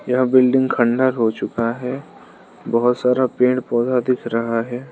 यह बिल्डिंग खंडहर हो चुका है बहुत सारा पेड़ पौधा दिख रहा है।